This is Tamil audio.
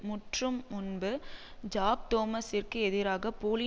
முற்றும் முன்பு ஜாக் தோமசிற்கு எதிராக போலி